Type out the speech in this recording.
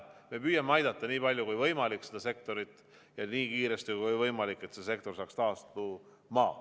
Me püüame aidata seda sektorit, nii palju kui võimalik ja nii kiiresti kui võimalik, et see sektor saaks taastuda.